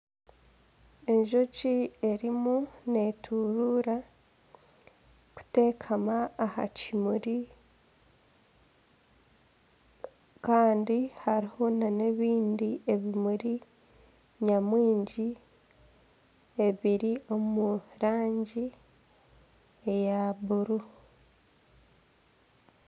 Enjoki erimu neturuura kutekama aha kimuri kandi hariho nana ebindi ebimuri nyamwingi ebiri omu rangi eya bururu.